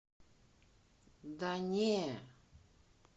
да не